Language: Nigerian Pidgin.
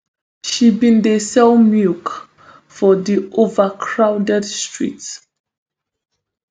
she bin dey sell milk for di overcrowded streets